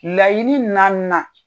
Laɲini naaninan